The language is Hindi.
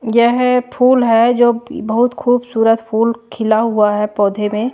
यह फूल है जो बहुत खूबसूरत फूल खिला हुआ है पौधे में।